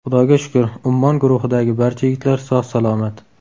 Xudoga shukr, ‘Ummon’ guruhidagi barcha yigitlar sog‘-salomat.